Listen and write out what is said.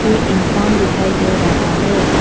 एक इंसान दिखाई दे रहा है।